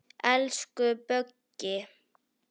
Elsku Böggi.